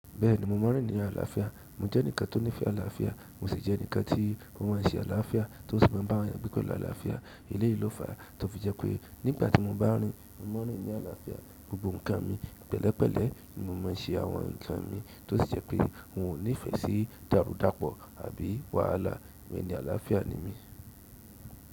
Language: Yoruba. Bẹ́ẹ̀ni mo mọ̀ rin ní àlàáfíà. Mo jẹ́ ẹnìkan tó nífẹ àlàáfíà, mo sì jẹ́ ẹnìkan tí ó maa n ṣẹ́ àlàáfíà tó sì maa n bá eyan gbe pẹ̀lú aláàáfíà. Eleyì ló fà tó fi jẹ́ pé nígbà tí mo bá rin, mo maa n rín nì àlàáfíà, gbogbo ǹkan mi pẹ̀lẹ́pẹ̀lẹ́ ni mo má ń se àwọn ǹkan mi tó sì jẹ́ pé n ò nífẹ̀ sí dàrúdàpọ̀ àbí wàhálà. Ẹni àlàáfíà ni mí.